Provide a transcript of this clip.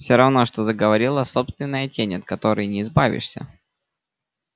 все равно что заговорила собственная тень от которой не избавишься